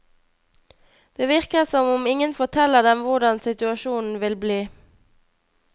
Det virker som om ingen forteller dem hvordan situasjonen vil bli.